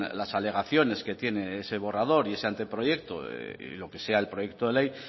las alegaciones que tiene ese borrador y ese anteproyecto y lo que sea el proyecto de ley